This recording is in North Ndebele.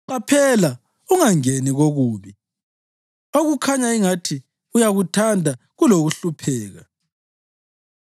Qaphela ungangeni kokubi, okukhanya ingathi uyakuthanda kulokuhlupheka.